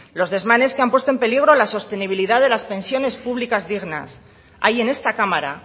los desmanes que han puesto en peligro a la sostenibilidad de las pensiones públicas dignas hay en esta cámara